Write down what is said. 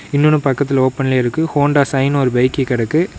இன்னொன்னு பக்கத்துல ஓபன்ல இருக்கு ஹோண்டா சைன்னு ஒரு பைக்கு கெடக்கு.